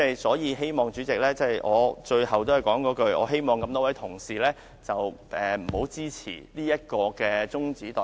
所以，主席，我最後仍是那句話，我希望各位同事不要支持中止待續議案，多謝主席。